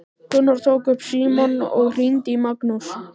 Gunnar tók upp símann og hringdi í Magnús.